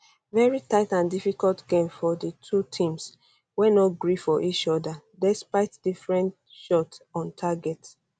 veri tight and difficult game for di two teams wey no gree for each oda despite different shot on target